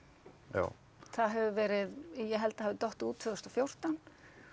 já það hefur verið ég held það hafi dottið út tvö þúsund og fjórtán